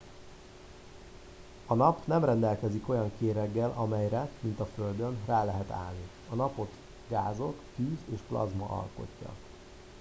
a nap nem rendelkezik olyan kéreggel amelyre mint a földön rá lehet állni a napot gázok tűz és plazma alkotja